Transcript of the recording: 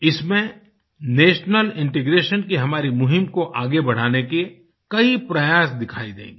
इसमें national integration की हमारी मुहिम को आगे बढ़ाने के कई प्रयास दिखाई देंगे